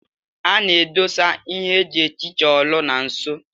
A na-edosa ihe eji ehicha olu na nso.